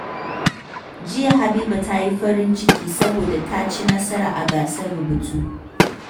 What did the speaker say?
Jiya, Habiba ta yi farin ciki saboda ta ci nasara a gasar rubutu.